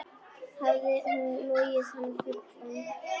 Hafði hún logið hann fullan?